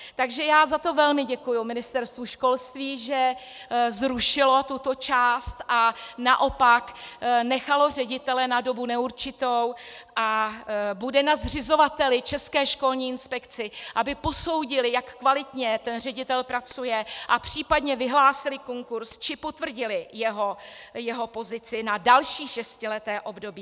Takže já za to velmi děkuji Ministerstvu školství, že zrušilo tuto část a naopak nechalo ředitele na dobu neurčitou a bude na zřizovateli, České školní inspekci, aby posoudil, jak kvalitně ten ředitel pracuje, a případně vyhlásil konkurz či potvrdil jeho pozici na další šestileté období.